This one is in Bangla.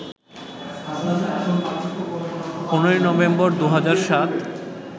১৫ই নভেম্বর, ২০০৭